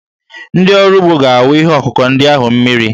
Ndị ọrụ ugbo ga-awụ ihe ọkụkụ ndị ahụ mmiri.